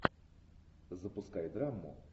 запускай драму